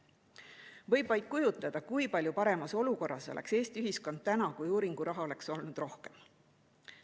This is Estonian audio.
Võib vaid kujutleda, kui palju paremas olukorras oleks Eesti ühiskond täna, kui uuringuraha oleks olnud rohkem.